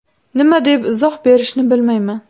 Nima deb izoh berishni bilmayman.